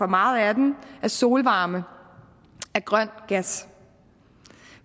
meget af den af solvarme og af grøn gas